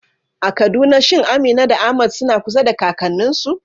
A Kaduna shin Amina da Ahmad suna kusa da kakanninsu?